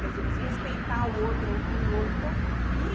Quer dizer, você respeitar o outro, ouvir o outro, então. E